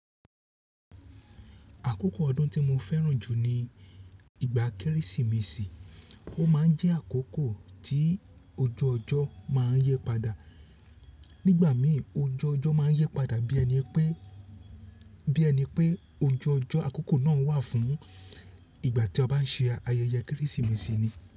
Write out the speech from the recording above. Àkókò ọdún tí mo fẹ́ràn jù ní ìgbà Kérésìmesì. Ó máa ń jẹ́ àkókò tí ojú ọjọ́ máa ń yí padà. Nígbà mi ojú ọjọ́ máa ń yí padà bí ẹni pé, bí ẹni pé ojú ọjọ́ àkókò náà wà fún ìgbà tí a bá ń ṣe ayẹyẹ Kérésìmesì ni.